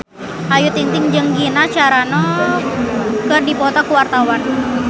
Ayu Ting-ting jeung Gina Carano keur dipoto ku wartawan